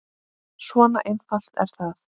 Svona einfalt er það.